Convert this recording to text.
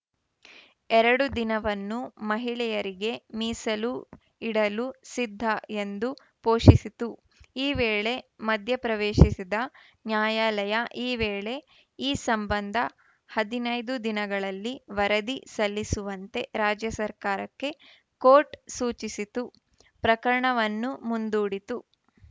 ಎರಡು ದಿನವನ್ನುಮಹಿಳೆಯರಿಗೆ ಮೀಸಲು ಇಡಲು ಸಿದ್ಧ ಎಂದು ಪೋ ಷಿಸಿತು ಈ ವೇಳೆ ಮಧ್ಯಪ್ರವೇಶಿಸಿದ ನ್ಯಾಯಾಲಯ ಈ ವೇಳೆ ಈ ಸಂಬಂಧ ಹದಿನೈದು ದಿನಗಳಲ್ಲಿ ವರದಿ ಸಲ್ಲಿಸುವಂತೆ ರಾಜ್ಯ ಸರ್ಕಾರಕ್ಕೆ ಕೋರ್ಟ್‌ ಸೂಚಿಸಿತು ಪ್ರಕರಣವನ್ನು ಮುಂದೂಡಿತು